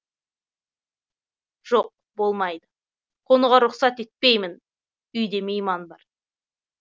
жоқ болмайды қонуға рұқсат етпеймін үйде мейман бар